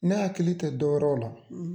Ne hakili tɛ dɔ yɛrɛ ola